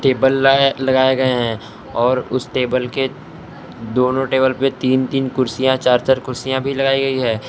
Table लाए लगाए गए हैं और उस टेबल के दोनों टेबल पे तीन तीन कुर्सियां चार चार कुर्सियां भी लगाई गयी हैं।